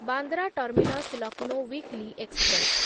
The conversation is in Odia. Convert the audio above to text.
Bandra terminus Lucknow weekly express